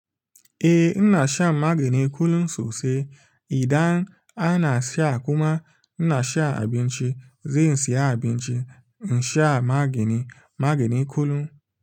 Eh in na shan magani kullum sosai idan ana sha kuma ina sha abinci, zai siya abinci in sha magani, magani kullum.